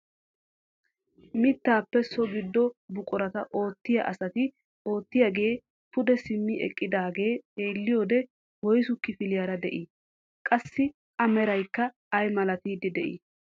Mittaappe so giddo buquraa oottiyaa asati oottidogee pude simmi eqqidaagee xeelliyoode woysu kifiliyaara de'i? qassi a meraykka ay milattiidi de'ii?